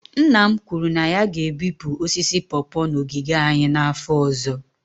Nna m kwuru na ya ga-ebipụ osisi pawpaw n'ogige anyị n'afọ ọzọ